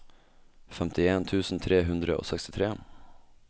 femtien tusen tre hundre og sekstitre